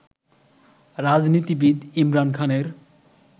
রাজনীতিবিদ ইমরান খানের